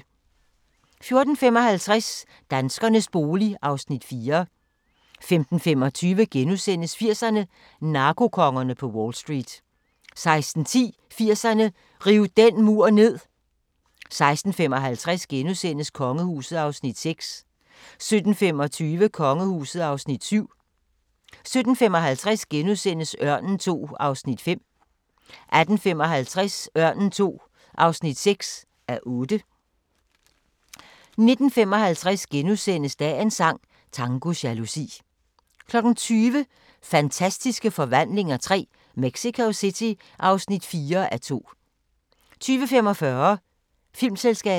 14:55: Danskernes bolig (Afs. 4) 15:25: 80'erne: Narkokongerne på Wall Street * 16:10: 80'erne: Riv den mur ned 16:55: Kongehuset (Afs. 6)* 17:25: Kongehuset (Afs. 7)* 17:55: Ørnen II (5:8)* 18:55: Ørnen II (6:8) 19:55: Dagens sang: Tango jalousi * 20:00: Fantastiske Forvandlinger III – Mexico City (4:2) 20:45: Filmselskabet